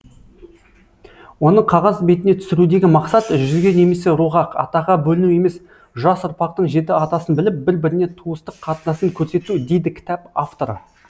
оны қағаз бетіне түсірудегі мақсат жүзге немесе руға атаға бөліну емес жас ұрпақтың жеті атасын біліп бір біріне туыстық қатынасын көрсету дейді кітап авторы